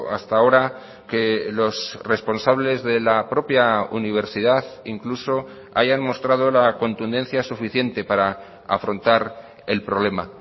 hasta ahora que los responsables de la propia universidad incluso hayan mostrado la contundencia suficiente para afrontar el problema